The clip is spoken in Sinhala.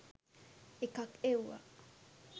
එකක් එව්වා